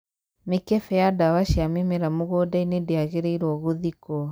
mĩkembe ya ndawa cia mĩmera mũgũnda-inĩ ndĩangĩrĩirwo ngũthikwo